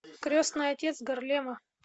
крестный отец гарлема